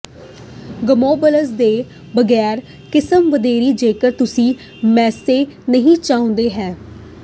ਗਮੌਬਲਜ਼ ਤੋਂ ਬਗੈਰ ਕਿਸਮ ਵਧੀਆ ਜੇਕਰ ਤੁਸੀਂ ਮੈਸੇ ਨਹੀਂ ਚਾਹੁੰਦੇ ਹੋ